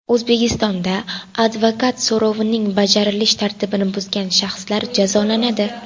O‘zbekistonda advokat so‘rovining bajarilish tartibini buzgan shaxslar jazolanadi.